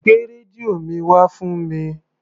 Gbé rẹ́díò mi wá fún mi.